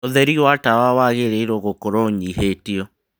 ũtheri wa tawa wagĩrĩirũo gũkorũo ũnyihĩtio